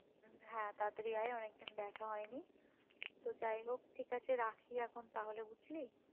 হ্যাঁ তাড়াতাড়ি আই অনেক দিন দেখা হয়নি তো যাই হোক ঠিক আছে রাখি এখন তাহলে বুঝলি